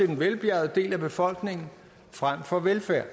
den velbjærgede del af befolkningen frem for velfærd